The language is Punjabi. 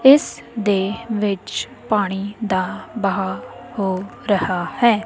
ਇਸ ਦੇ ਵਿੱਚ ਪਾਣੀ ਦਾ ਬਹਾ ਹੋ ਰਹਾ ਹੈ।